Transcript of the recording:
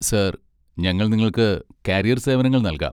Sir, ഞങ്ങൾ നിങ്ങൾക്ക് carrier സേവനങ്ങൾ നൽകാം.